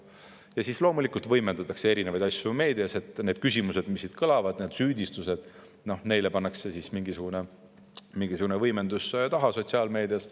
Siis loomulikult võimendatakse erinevaid asju meedias, nendele küsimustele, mis siit kõlavad, ja süüdistustele pannakse mingisugune võimendus taha ja sotsiaalmeedias.